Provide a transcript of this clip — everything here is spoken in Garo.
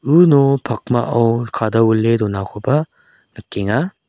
uno pakmao kadawile donakoba nikenga.